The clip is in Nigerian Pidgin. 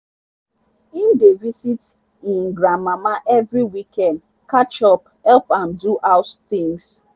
him dey visit e grandmama every weekend catch up help am do house things.